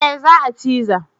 Eh za a chanza